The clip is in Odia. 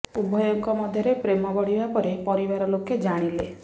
ଉଭୟଙ୍କ ମଧ୍ୟରେ ପ୍ରେମ ବଢିବା ପରେ ପରିବାର ଲୋକେ ଜାଣିଲେ